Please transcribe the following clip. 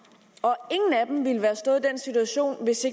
og ingen af dem ville have stået i den situation hvis